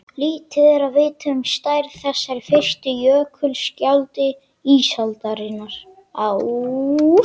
Lítið er vitað um stærð þessara fyrstu jökulskjalda ísaldarinnar á